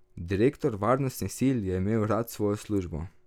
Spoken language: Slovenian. Direktor varnostnih sil je imel rad svojo službo.